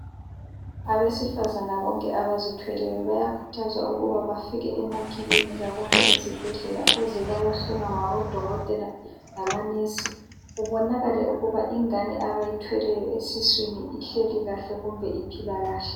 Abesifazane bonke abazithweleyo bayakhuthazwa ukuba bafike emakilinika kumbe ezibhedlela ukuze bayehlolwa ngabodokotela lamanesi kubonakale ukuba ingane abayithweleyo esiswini ihleli kahle kumbe iphila kahle.